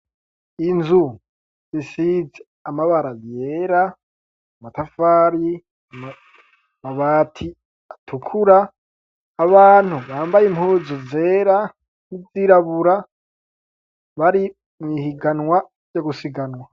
Inzu zisize amabara yera, amatafari, amabati atukura. Abantu bambaye impuzu zera n'izirabura bari mw'ihiganwa ryo gusiganwa.